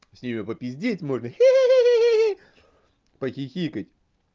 с ними попиздеть можно хииииии похихикать